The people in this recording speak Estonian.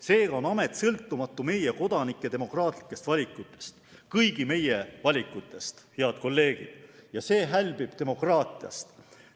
Seega on amet sõltumatu meie kodanike demokraatlikest valikutest, kõigi meie valikutest, head kolleegid, ja see hälbib demokraatiast.